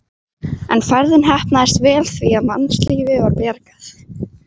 En ferðin heppnaðist vel því að mannslífi var bjargað.